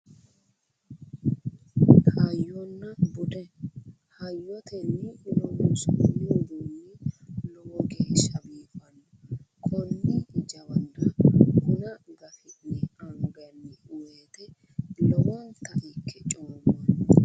Hayyonna bude. Hayyotenni loonsoonni uduunni lowo geeshsha biifanno. Konne jawana buna gafi'ne anganni woyite lowonta ikke coommanno.